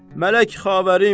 Mələk xavərim.